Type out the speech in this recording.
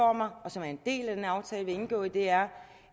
og som er en del af den aftale vi har indgået er